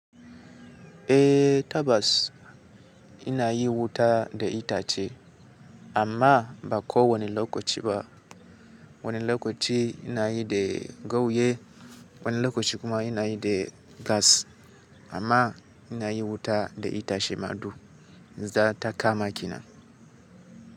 Eh Tabbas ina yin wuta da itace amma ba ko wani lokaci ba. Wani lokaci ina yi da gawayi, wani lokaci kuma ina yi da gas amma ina yi wuta da itace ma du. Zata kama kenan.